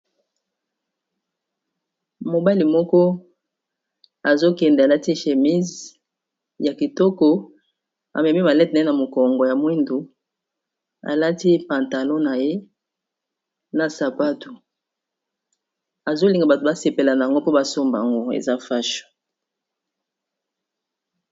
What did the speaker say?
mobali moko azokende alati shémise ya kitoko amemi malete ne na mokongo ya mwindu alati pantalon na ye na sapatu azolinga bato basepelana yango mpo basomba yango eza fasho